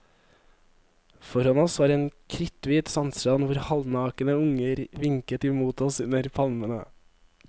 Foran oss var en kritthvit sandstrand hvor halvnakne unger vinket imot oss under palmene.